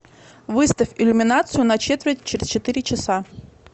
выставь иллюминацию на четверть через четыре часа